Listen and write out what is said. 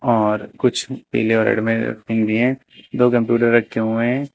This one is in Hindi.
और कुछ पीले और रेड में भी है दो कंप्यूटर रखे हुए हैं।